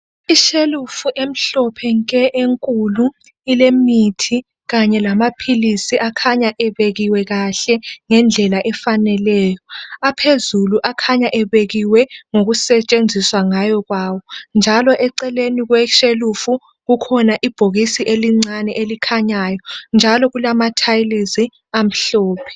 Ishelufu emhlophe nke enkulu ilemuthi kanye lamaphilisi akhanya ebekiwe kahle ngendlela efaneleyo aphezulu akhanya ebekiwe ngokusetshenziswa ngayo kwawo njalo eceleni kweshelufu kukhona ibhokisi elincinyane elikhanyayo njalo kulamathalizi amhlophe.